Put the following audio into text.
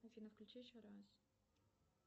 афина включи еще раз